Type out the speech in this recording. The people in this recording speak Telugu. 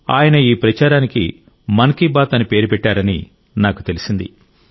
ఆయన ఈ ప్రచారానికి మన్ కీ బాత్ అని పేరు పెట్టారని నాకు తెలిసింది